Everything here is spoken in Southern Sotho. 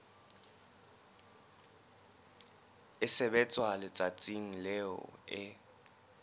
e sebetswa letsatsing leo e